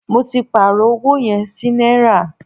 Mó tí pàárọ̀ ọwọ yẹn sí náírà.